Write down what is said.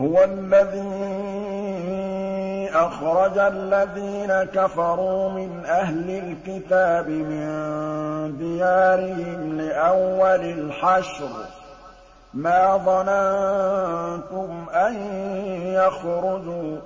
هُوَ الَّذِي أَخْرَجَ الَّذِينَ كَفَرُوا مِنْ أَهْلِ الْكِتَابِ مِن دِيَارِهِمْ لِأَوَّلِ الْحَشْرِ ۚ مَا ظَنَنتُمْ أَن يَخْرُجُوا ۖ